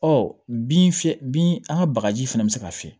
Ɔ bin fiyɛ bin an ka bagaji fana bɛ se ka fiyɛ